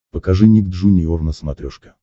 покажи ник джуниор на смотрешке